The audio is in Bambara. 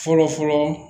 Fɔlɔ fɔlɔ